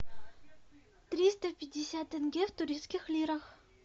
триста пятьдесят тенге в турецких лирах